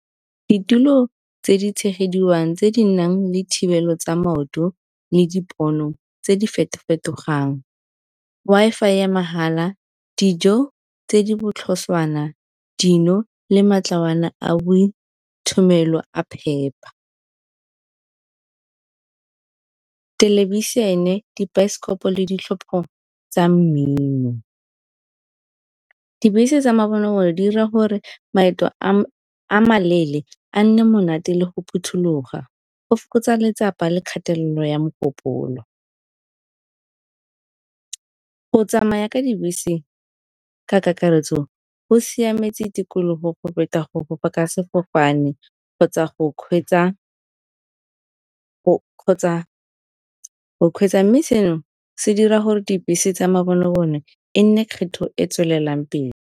Ditulo tse di tshegediwang tse di nang le thibelo tsa maoto le dipono tse di feto-fetogang. Wi-Fi ya mahala, dijo tse di botlhoswana, dino le a phepa. Thelebišene, dibaesekopo le ditlhopho tsa mmino. Dibese tsa di dira gore maeto a maleele a nne monate le go phuthuloga, go fokotsa letsapa le kgatelelo ya mogopolo. Go tsamaya ka dibese ka kakaretso go siametse tikologo go feta go fofa ka sefofane kgotsa go kgweetsa, mme seno se dira gore dibese tsa e nne kgetho e tswelelang pele.